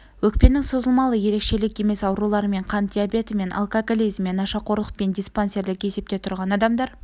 өкпенің созылмалы ерекшелік емес ауруларымен қант диабетімен алкоголизммен нашақорлықпен диспансерлік есепте тұрған адамдар